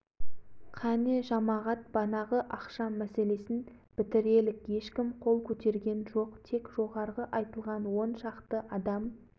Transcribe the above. манағы ғұбайдолланың айтқанындай ақша жұрттың бәріне бірдей салынсын дегендеріңіз қол көтеріңіздер деді